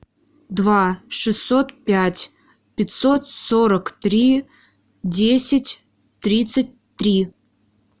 два шестьсот пять пятьсот сорок три десять тридцать три